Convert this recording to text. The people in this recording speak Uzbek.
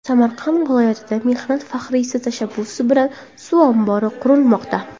Samarqand viloyatida mehnat faxriysi tashabbusi bilan suv ombori qurilmoqda.